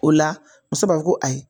O la muso b'a fɔ ko ayi